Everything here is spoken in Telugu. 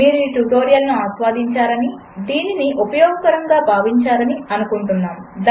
మీరు ఈ ట్యుటోరియల్ ఆస్వాదించారని దీనిని ఉపయోగకరముగా ఉన్నదని భావించారని అనుకుంటున్నాము